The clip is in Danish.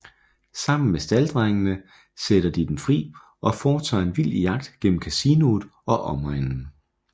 Sammen med stalddrengene sætter de dem fri og foretager en vild jagt gennem kasinoet og omegnen